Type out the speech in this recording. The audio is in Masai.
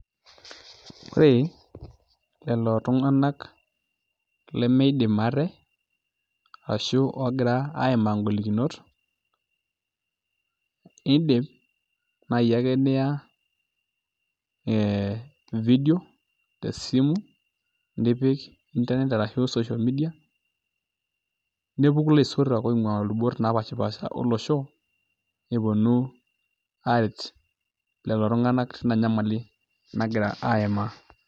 ore lelo tunganak limidim ate ashu oogira aimaa igolikinot, idim naaji ake niya vidio te simu nipik intanet ashu social media ,nepuku ilaisotuak onguaa ilubot naapasha olosho nepuonu aret lelo tunganak tina nyamali nagira aimaa.